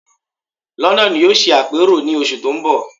London yóò ṣe àpérò ní oṣù tó ń bọ̀